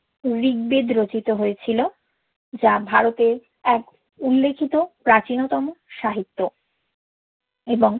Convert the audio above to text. ঋগবেদ রচিত হয়েছিল যা ভারতের এক উল্লেখিত প্রাচীনতম সাহিত্য এবং